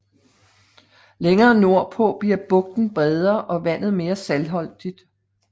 Længere nordpå bliver bugten bredere og vandet mere saltholdigt